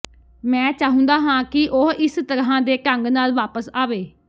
ਮੈਂ ਚਾਹੁੰਦਾ ਹਾਂ ਕਿ ਉਹ ਇਸ ਤਰ੍ਹਾਂ ਦੇ ਢੰਗ ਨਾਲ ਵਾਪਸ ਆਵੇ